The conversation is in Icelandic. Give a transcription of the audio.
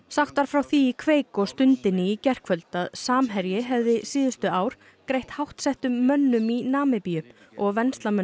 sagt var frá því í kveik og Stundinni í gærkvöld að Samherji hefði síðustu ár greitt háttsettum mönnum í Namibíu og